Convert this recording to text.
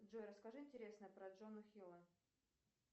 джой расскажи интересное про джона хилла